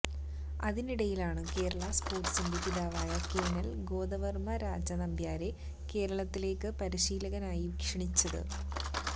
അതിനടയിലാണ് കേരളാ സ്പോർട്സിന്റെ പിതാവായ കേണൽ ഗോദവർമ രാജ നമ്പ്യാരെ കേരളത്തിലേക്ക് പരിശീലകനായി ക്ഷണിച്ചത്